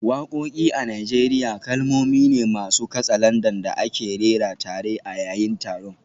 Wakoki a Najeriya kalmomi ne masu katsalandan da ake rera tare a yayin taron.